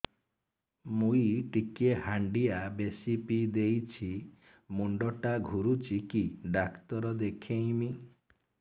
ମୁଇ ଟିକେ ହାଣ୍ଡିଆ ବେଶି ପିଇ ଦେଇଛି ମୁଣ୍ଡ ଟା ଘୁରୁଚି କି ଡାକ୍ତର ଦେଖେଇମି